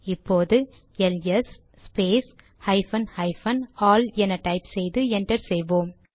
இப்போது LS space hyphen hyphen all என type செய்து என்டர் செய்வோம்